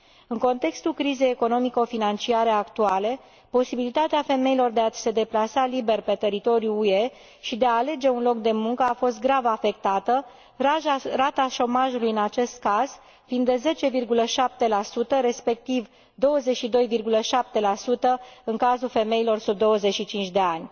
În contextul crizei economico financiare actuale, posibilitatea femeilor de a se deplasa liber pe teritoriul UE și de a alege un loc de muncă a fost grav afectată, rata șomajului în acest caz fiind de 10,7, respectiv 22,7, în cazul femeilor sub 25 de ani.